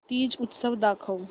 तीज उत्सव दाखव